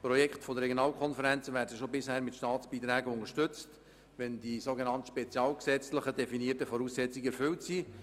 Projekte der Regionalkonferenzen werden bereits bisher mit Staatsbeiträgen unterstützt, wenn die sogenannt spezialgesetzlich definierten Voraussetzungen erfüllt sind.